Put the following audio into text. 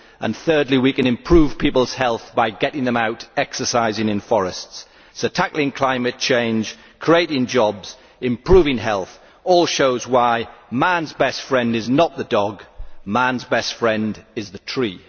And, thirdly, we can improve people's health by getting them out exercising in forests. So tackling climate change, creating jobs and improving health all show why man's best friend is not the dog man's best friend is the tree.